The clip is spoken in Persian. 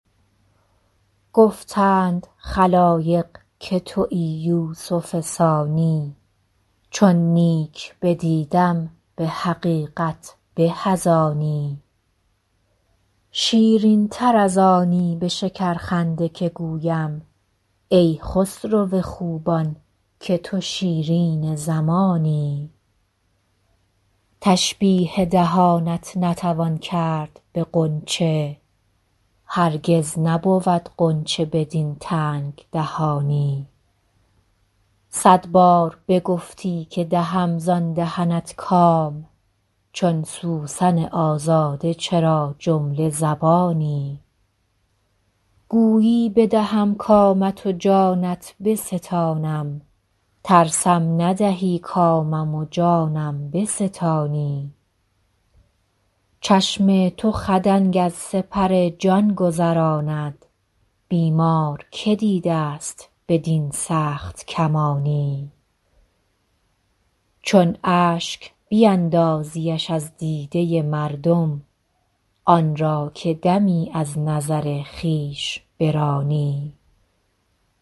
گفتند خلایق که تویی یوسف ثانی چون نیک بدیدم به حقیقت به از آنی شیرین تر از آنی به شکرخنده که گویم ای خسرو خوبان که تو شیرین زمانی تشبیه دهانت نتوان کرد به غنچه هرگز نبود غنچه بدین تنگ دهانی صد بار بگفتی که دهم زان دهنت کام چون سوسن آزاده چرا جمله زبانی گویی بدهم کامت و جانت بستانم ترسم ندهی کامم و جانم بستانی چشم تو خدنگ از سپر جان گذراند بیمار که دیده ست بدین سخت کمانی چون اشک بیندازیش از دیده مردم آن را که دمی از نظر خویش برانی